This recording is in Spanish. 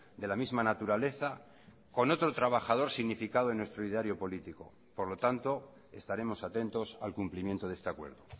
de la misma naturaleza con otro trabajador significado en nuestro ideario político por lo tanto estaremos atentos al cumplimiento de este acuerdo